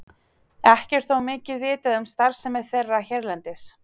Ekki er þó mikið vitað um starfsemi þeirra hérlendis.